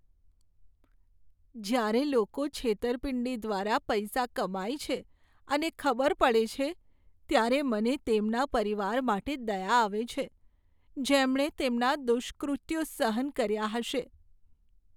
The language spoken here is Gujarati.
જ્યારે લોકો છેતરપિંડી દ્વારા પૈસા કમાય છે અને ખબર પડે છે, ત્યારે મને તેમના પરિવાર માટે દયા આવે છે, જેમણે તેમના દુષ્કૃત્યો સહન કર્યા હશે.